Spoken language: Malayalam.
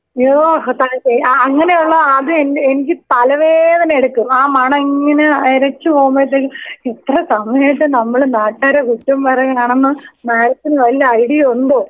അയ്യോ അങ്ങനെയുള്ള ആദ്യം എന്നെ എനിക്ക് തലവേദന എടുക്കും ആ മണം ഇങ്ങനെ എരച്ച് പോവുമ്പഴത്തേക്കും എത്ര സമയായിട്ട് നമ്മൾ നാട്ടുക്കാരെ കുറ്റോം പറഞ്ഞ് നടന്ന് മാടത്തിന് വല ഐഡിയയുമുണ്ടോ?